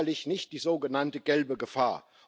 Es ist sicherlich nicht die sogenannte gelbe Gefahr.